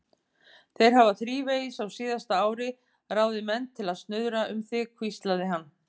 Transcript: Þeir hafa þrívegis á síðasta ári ráðið menn til að snuðra um þig hvíslaði hann.